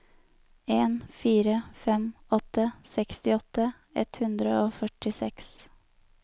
en fire fem åtte sekstiåtte ett hundre og førtiseks